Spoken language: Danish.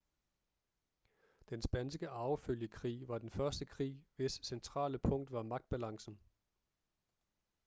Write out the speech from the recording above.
den spanske arvefølgekrig var den første krig hvis centrale punkt var magtbalancen